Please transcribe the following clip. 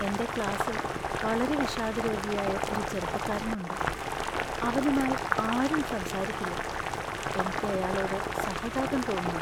എന്‍റെ ക്ലാസ്സിൽ വളരെ വിഷാദരോഗിയായ ഒരു ചെറുപ്പക്കാരനുണ്ട്, അവനുമായി ആരും സംസാരിക്കില്ല. എനിക്ക് അയാളോട് സഹതാപം തോന്നാ.